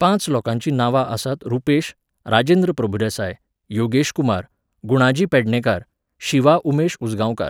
पांच लोकांची नांवां आसात रुपेश, राजेंद्र प्रभुदेसाय, योगेश कुमार, गुणाजी पेडणेकार, शिवा उमेश उसगांवकार.